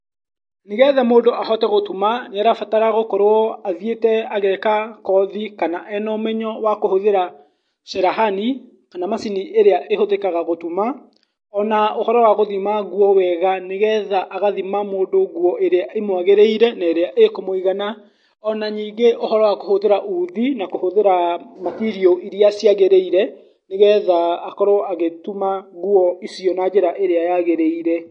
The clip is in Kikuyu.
Nĩgetha mũndũ ahote gũtuma, nĩarabatara gũkorwo athiĩte ageka kothi kana ena ũmenyo wa kũhũthĩra cerehani kana macini ĩrĩa ĩhũthĩkaga gũtuma, ona ũhoro wa gũthima nguo wega nĩgetha agathima mũndũ nguo ĩrĩa ĩmwagĩrĩire na ĩrĩa ĩkũmũigana, ona ningĩ ũhoro wa kũhũthĩra uthi na kũhũthĩra matirio iria ciagĩrĩire nĩgetha akorwo agĩtuma nguo icio na njĩra ĩrĩa yagĩrĩire.